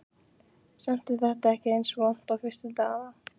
Samt er þetta ekki eins vont og fyrstu dagana.